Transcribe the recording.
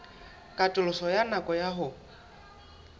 katoloso ya nako ya ho